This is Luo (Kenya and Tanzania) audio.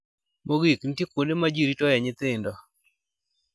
Mogik, nitie kuonde ma ji ritoe nyithindo.